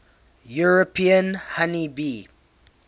european honey bee